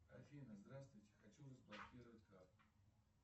афина здравствуйте хочу разблокировать карту